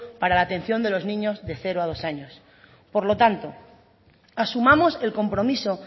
para la atención de los niños de cero dos años por lo tanto asumamos el compromiso